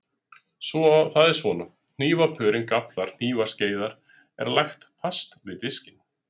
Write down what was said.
Það er svona: Hnífapörin, gafflar, hnífar, skeiðar, er lagt fast við diskinn.